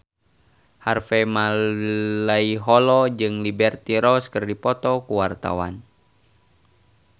Harvey Malaiholo jeung Liberty Ross keur dipoto ku wartawan